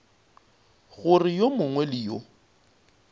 gore yo mongwe le yo